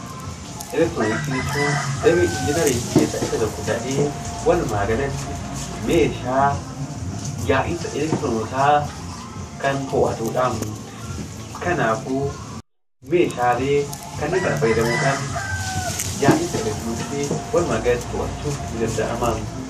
Elektirooniksii jechuun damee Injineeriingii keessaa isa tokko ta'ee, walumaa galatti meeshaa yaa'insa elektiroonotaa kan to'atu dha. Kanaafuu meeshaalee kanneen kana fayyadamuu dhaan yaa'insa elektirooniksii walumaa gala to'achuun ni danda'ama.